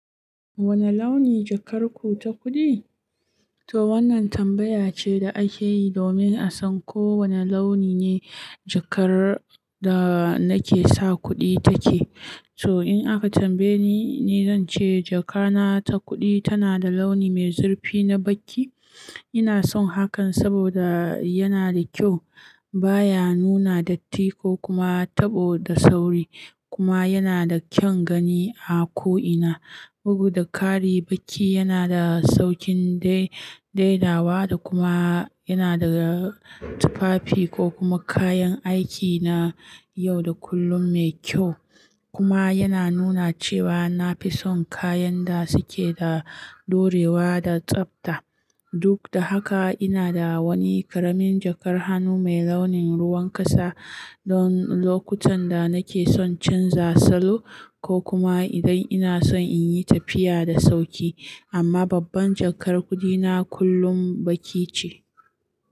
Wane launi jakar ku ta kuɗi? To wannan tambaya ce da ake yi domin a san ko wane launi ne jakar da nake sa kuɗi take. So in aka tambaye ni, ni zan ce jakana ta kuɗi tana da launi mai zurfi na baƙi. Ina son hakan saboda yana da kyau, baya nuna datti ko kuma taɓo da sauri, kuma yana da kyan gani a ko'ina. Bugu da ƙari, baƙi yana da saukin dai daidawa da kuma yana daga tufafi ko kuma kayan aiki na yau da kullun mai kyau, kuma yana nuna cewa na fi son kayan da suke da daurewa da tsabta. Duk da haka, ina da wani ƙaramin jakar hannu mai launin ruwan ƙasa don lokutan da nake son canza salo ko kuma idan ina son in yi tafiya da sauƙi. Amma babban jakar kuɗina kullum baƙi ce.